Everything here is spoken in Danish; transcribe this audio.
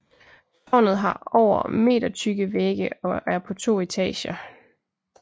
Tårnet har over metertykke vægge og er på to etager